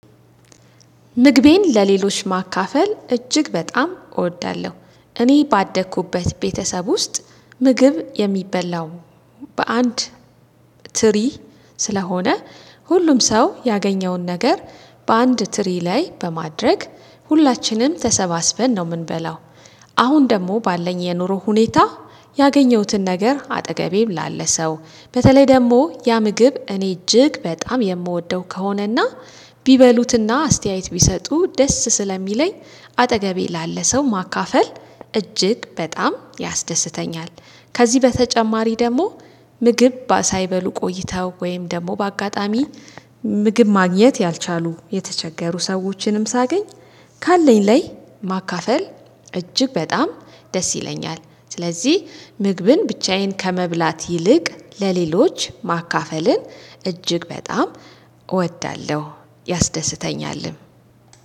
ምግቤን ለሌሎች ማካፈል እጅግ በጣም እወዳለሁ እኔ ባደኩበት ቤተሰብ ውስጥ ምግብ የሚበላው በአንድ ትሪ ስለሆነ ሁሉም ሰው ያገኘውን ነገር በአንድ ትሪ ላይ በማድረግ ሁላችንም ተሰባስበን ነው የምንበላው። አሁን ደግሞ ባለኝ የኑሮ ሁኔታ ያገኘሁትን ነገር አጠገቤም ላለ ሰው በተለይ ደግሞ ያ ምግብ እኔ እጅግ በጣም የምወደው ከሆነ እና ቢበሉት እና አስተያየት ቢሰጡ ደስ ስለሚለኝ አጠገቤ ላለ ሰው ማካፈል እጅግ በጣም ያስደስተኛል። ከዚህ በተጨማሪ ደግሞ ምግብ ሳይበሉ ቆይተው ወይም ደግሞ በአጋጣሚ ምግብ ማግኘት ያልቻሉ የተቸገሩ ሰዎችንም ሳገኝ ካለኝ ላይ ማካፈል እጅግ በጣም ደስ ይለኛል። ስለዚህ ምግብን ብቻዬን ከመብላት ይልቅ ለሌሎች ማካፈልን እጅግ በጣም እወዳለሁ ያስደስተኛልም።